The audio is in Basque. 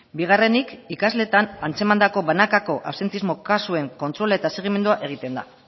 bigarrenik ikasleetan antzemandako banakako absentismo kasuen kontrol eta segimendua egiten da